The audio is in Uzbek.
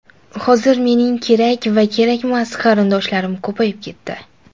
Hozir mening kerak va kerakmas qarindoshlarim ko‘payib ketdi.